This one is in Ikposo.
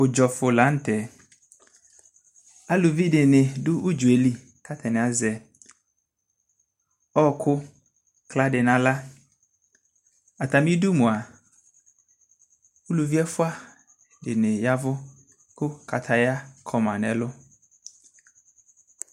ʋdzɔ ƒʋ lantɛ, alʋvi dini dʋ ʋdzɔɛli kʋ atani azɛ ɔkʋ ila di nʋ ala, atami idʋ mʋa ʋlʋvi ɛƒʋa dini yavʋ kʋ kataya kɔna nʋ ɛlʋ